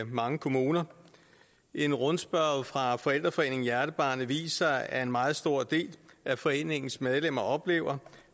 mange kommuner en rundspørge fra forældreforeningen hjernebarnet viser at en meget stor del af foreningens medlemmer oplever